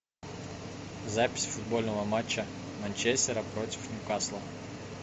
запись футбольного матча манчестера против ньюкасла